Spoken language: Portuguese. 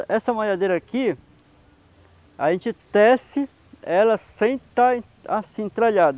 essa maiadeira aqui, a gente tece ela sem estar assim, entralhada.